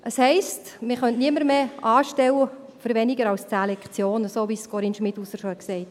Das heisst, man könnte niemanden mehr für weniger als 10 Lektionen anstellen, wie es Corinne Schmidhauser schon gesagt hat.